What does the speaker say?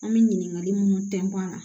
An bɛ ɲininkali munnu tɛntɛ la